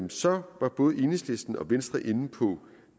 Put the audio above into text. så var både enhedslisten og venstre inde på